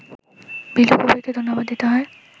বিলু কবীরকে ধন্যবাদ দিতে হয়